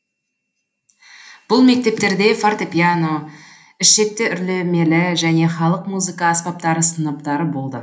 бұл мектептерде фортепьяно ішекті үрлемелі және халық музыка аспаптары сыныптары болды